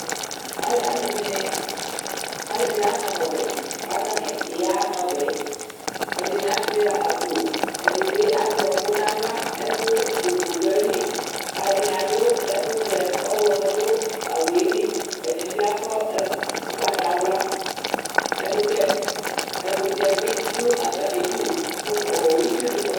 alʋɛdini anama ɔbɛ kʋ atani yana ɔbɛ yɛ ɛdini asuia akpo, ɛdibi azɛ ɔkʋ nʋ aɣla, ɛkʋvʋ dʋ ayili Alʋɛdini adʋ ɛkʋvɛ, ɔwlɔmɔ dʋ awʋɛli, ɛdini bi akɔ ʋgbatawla, ɛkʋtɛ bidʋ atami idʋ, itsuni kɔ nʋ ɛfɛ